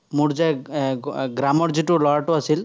মোৰ যে এৰ এৰ গ্ৰামৰ যিটো ল'ৰাটো আছিল,